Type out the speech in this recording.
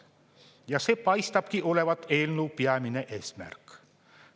Ja see paistabki olevat eelnõu peamine eesmärk.